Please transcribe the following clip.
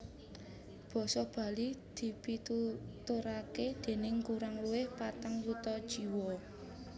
Basa Bali dipituturaké déning kurang luwih patang yuta jiwa